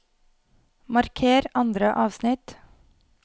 Marker andre avsnitt